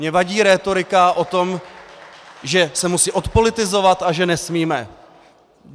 Mně vadí rétorika o tom, že se musí odpolitizovat a že nesmíme.